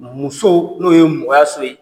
Muso n'o ye mɔgɔya so ye.